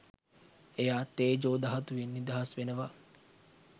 එයා තේජෝ ධාතුවෙන් නිදහස් වෙනවා